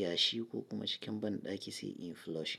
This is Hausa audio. yashi ko kuma cikin banɗaki se influshing.